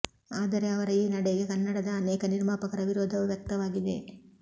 ಆದರೆ ಅವರ ಈ ನಡೆಗೆ ಕನ್ನಡದ ಅನೇಕ ನಿರ್ಮಾಪಕರ ವಿರೋಧವೂ ವ್ಯಕ್ತವಾಗಿದೆ